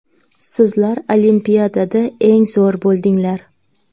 Sizlar Olimpiadada eng zo‘r bo‘ldinglar.